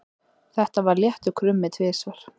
Það var léttur krummi tvisvar.